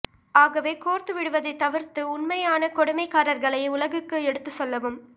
ஆகவே கோர்த்துவிடுவதைத் தவிர்த்து உண்மையான கொடுமைக்காரர்களை உலகுக்கு எடுத்துச் சொல்லவும்